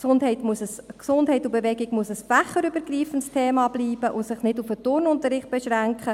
Gesundheit und Bewegung müssen ein fächerübergreifendes Thema bleiben und sich nicht auf den Turnunterricht beschränken.